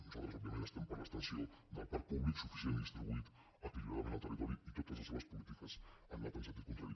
nosaltres òbviament estem per l’extensió del parc públic suficient i distribuït equilibradament en el territori i totes les seves polítiques han anat en sentit contrari